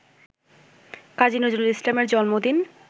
কাজী নজরুল ইসলাম এর জন্মদিন